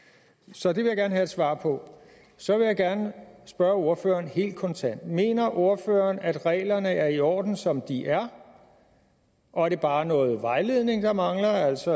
så det vil jeg gerne have svar på så vil jeg gerne spørge ordføreren helt kontant mener ordføreren at reglerne er i orden som de er og at det bare er noget vejledning der mangler altså